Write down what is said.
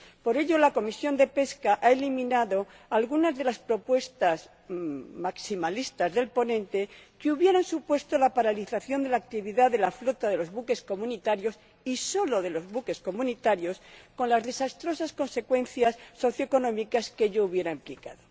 Por ello, la Comisión de Pesca ha eliminado algunas de las propuestas maximalistas del ponente, que hubieran supuesto la paralización de la actividad de la flota de los buques comunitarios y solo de los buques comunitarios con las desastrosas consecuencias socioeconómicas que ello hubiera implicado.